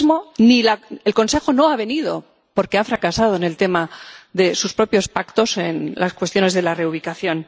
Hoy mismo el Consejo no ha venido, porque ha fracasado en el tema de sus propios pactos en las cuestiones de la reubicación.